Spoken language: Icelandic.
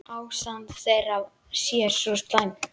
Ástand þeirra sé svo slæmt.